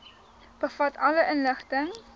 bevat alle inligting